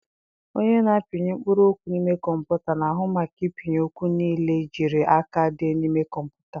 Onye na-apịnye mkpụrụ okwu n'ime Kọmputa na-ahụ maka ịpịnye okwu nile ejiri aka dee n'ime Kọmputa.